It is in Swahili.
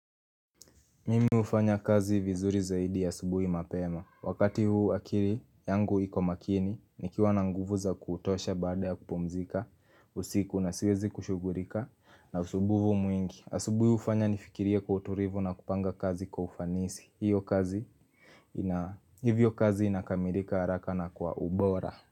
Mimi ufanya kazi vizuri zaidi asubuhi mapema. Wakati huu akiri yangu iko makini, nikiwa na nguvu za kutosha baada ya kupumzika, usiku na siwezi kushugurika na usubuhu mwingi. Asubuhi ufanya nifikirie kwa uturivu na kupanga kazi kwa ufanisi. Hivyo kazi inakamirika haraka na kwa ubora.